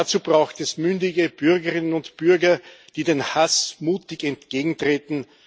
Dazu braucht es mündige Bürgerinnen und Bürger, die dem Hass mutig entgegentreten.